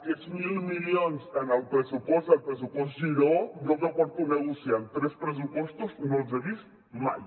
aquests mil milions en el pressupost del pressupost giró jo que porto negociant tres pressupostos no els he vist mai